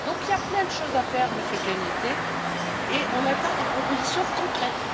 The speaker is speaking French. Donc il y a plein de choses à faire, Monsieur Cañete, et on attend des propositions concrètes.